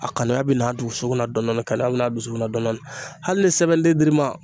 A kanuya bɛ n'a dusukun na dɔnɔni kanuya be n'a dusukun na dɔnɔni hali ni sɛbɛnden dir'i ma